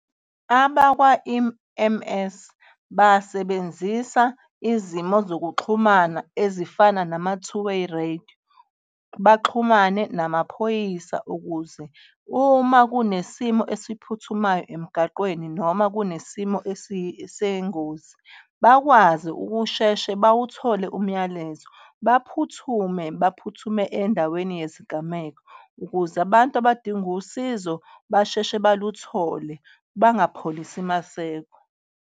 Abakwa-E_M_S basebenzisa izimo zokuxhumana ezifana nama-two way radio, baxhumane namaphoyisa ukuze uma kunesimo esiphuthumayo emgaqweni noma kunesimo sengozi bakwazi ukusheshe bawuthole umyalezo, baphuthume, baphuthume endaweni yesigameko ukuze abantu abadinga usizo basheshe baluthole bangapholisi maseko.